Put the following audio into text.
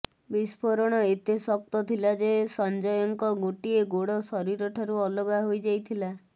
ବିଷ୍ପୋରଣ ଏତେ ଶକ୍ତ ଥିଲା ଯେ ସଂଜୟଙ୍କ ଗୋଟିଏ ଗୋଡ ଶରୀର ଠାରୁ ଅଲଗା ହୋଇଯାଇଥିଲା